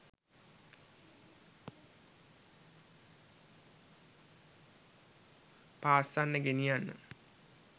පාස්සන්න ගෙනියන්න